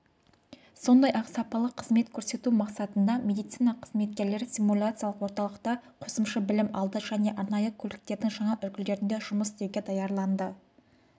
сондай-ақ сапалы қызмет көрсету мақсатында медицина қызметкерлері симуляциялық орталықта қосымшы білім алды және арнайы көліктердің жаңа үлгілерінде жұмыс істеуге даярланды